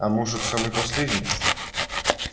а может самый последний